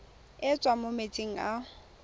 e tswang mo metsing a